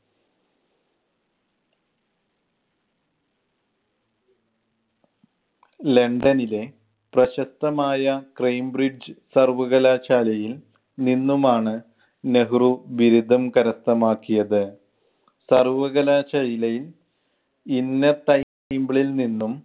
ലണ്ടനിലെ പ്രശസ്‌തമായ കംബ്രിഡ്ജ് സർവകലാശാലയിൽ നിന്നും ആണ് നെഹ്‌റു ബിരുദം കരസ്ഥമാക്കിയത്. സർവകലാശാലയിൽ നിന്നും